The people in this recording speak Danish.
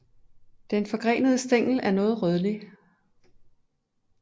Den forgrenede stængel er noget rødlig